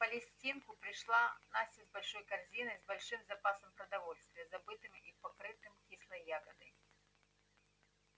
на палестинку пришла настя с большой корзиной с большим запасом продовольствия забытым и покрытым кислой ягодой